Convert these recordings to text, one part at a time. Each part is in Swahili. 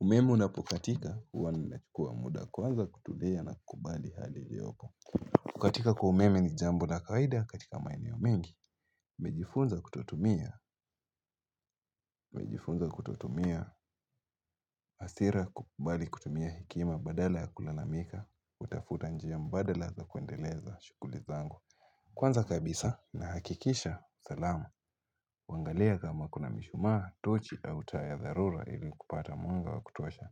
Umeme unapokatika huwa nimechukua muda kwanza kutulia na kubali hali liyopo kukatika kwa umeme ni jambo la kawaida katika maeneo mengi nimejifunza kututumia nimejifunza kutotumia hasira kukubali kutumia hekima badala ya kulalamika kutafuta njia mbadala za kuendeleza shughuli zangu Kwanza kabisa nahakikisha salamu kuangalia kama kuna mishumaa, tochi, au taa ya dharura ili kupata mwanga wa kutosha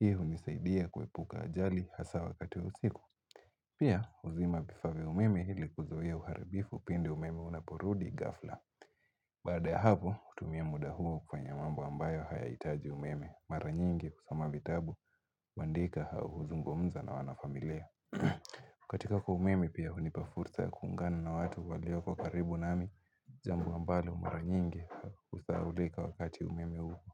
Hii hunisaidia kuepuka ajali hasa wakati wa usiku Pia huzima vifaa vya umeme ili kuzuia uharibifu pindi umeme unaporudi ghafla Baada ya hapo, hutumia muda huo kufanya mambo ambayo hayahitaji umeme Mara nyingi kusoma vitabu, kuandika au huzungumza na wanafamilia kukatika kwa umeme pia hunipa fursa ya kuungana na watu walioko karibu nami jambo ambalo mara nyingi husahaulika wakati umeme upo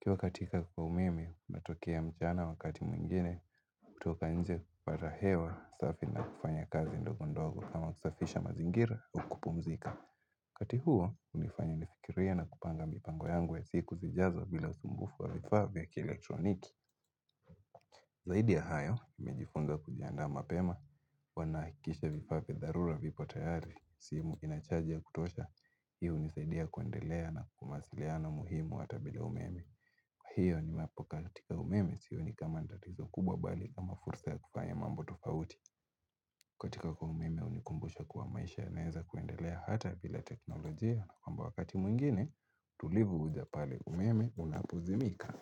ukiwa katika kwa umeme, unatokea mchana wakati mwingine, hutoka nje kupata hewa safi na kufanya kazi ndogo ndogo kama kusafisha mazingira au kupumzika. Wakati huo, hunifanya nifikirie na kupanga mipango yangu ya siku zijazo bila usumbufu wa vifaa vya kielektroniki. Zaidi ya hayo, nimejifunza kujiandaa mapema, wanahikisha vifaa vya dharura vipo tayari, simu ina chaji ya kutosha, hi hunisaidia kuendelea na kwa mawasiliano muhimu hata bila umeme. Kwa hiyo niwapo katika umeme sioni kama ni tatizo kubwa bali kama fursa ya kufanya mambo tofauti kukatika kwa umeme hunikumbusha kuwa maisha yanaeza kuendelea hata bila teknolojia kwamba wakati mwingine tulivu huja pale umeme unapozimika.